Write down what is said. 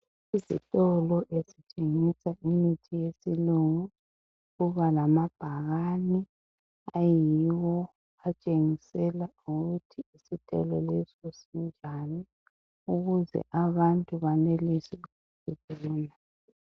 Isitolo esithengisa imithi yesilungu kuba lama bhakane ayiwo atshengisela ukuthi isitolo leso senzani ukuze abantu banelise ukubona.